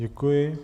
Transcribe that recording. Děkuji.